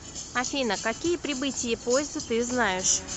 афина какие прибытие поезда ты знаешь